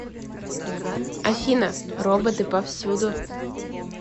афина роботы повсюду